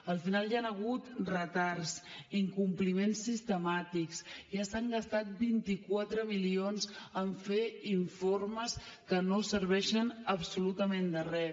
al final hi han hagut retards incompliments sistemàtics ja s’han gastat vint quatre milions en fer informes que no serveixen absolutament de res